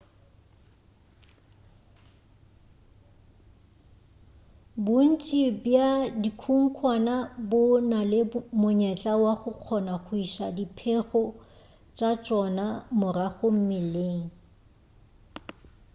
bontši bja dikhunkhwane bo na le monyetla wa go kgona go iša diphego tša tšona morago mmeleng